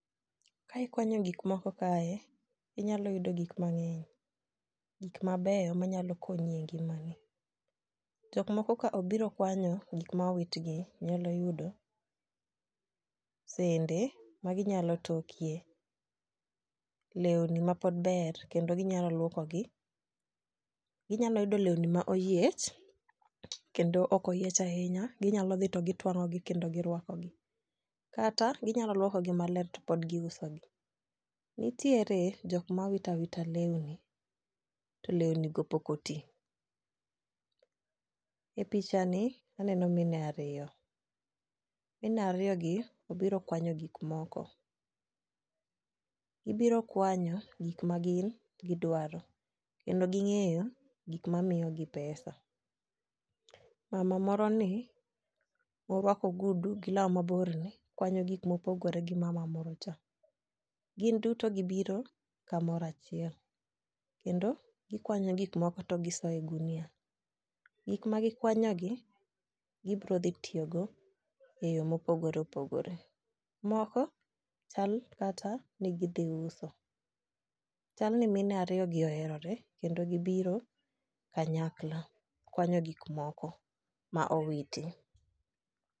Kae ikwanyo gik moko kae inyalo yudo gik mang'eny gik mabeyo manyalo konyi e ngimani. Jok moko ka obiro kwanyo gik ma owit gi nyalo yudo sende , magi nyalo tokie, lewni mapod ber kendo ginyalo luoko gi , ginyalo yudo lewni ma oyiech kendo ok oyiech ahinya ginyalo dhi kendo gitwang'o gi kendo girwakogi , kata ginyalo luoko gi maler to pod giuso gi nitiere jom kma witawita lewni to lewni go pok otii. E picha ni aneno mine ariyo, mine ariyo gi obiro kwanyo gik moko gibiro kwanyo gik ma gin gidwaro kendo ging'eyo gik mamiyo gi pesa. Mama moro ni morwako ogudu gi law mabor ni kwanyo gik mopgore gi mama moro cha. Gin duto gibiro kamoro achiel kendo gikwany gik moko to gise ye ogunia. Gik ma gikwanyo gi gibro dhi tiyo go e yoo mopogore opogore moko chala kata ni gidhi uso. Chal ni mine ariyo gi oherore kendo gibiro kanyakla kwanyo gik moko ma owiti.